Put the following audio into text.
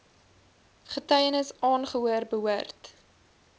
getuienis aangehoor behoort